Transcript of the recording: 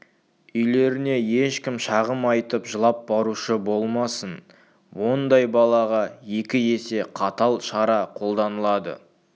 үйлеріне ешкім шағым айтып жылап барушы болмасын ондай балаға екі есе қатал шара қолданылады